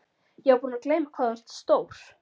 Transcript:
Ég var búin að gleyma hvað þú ert stór.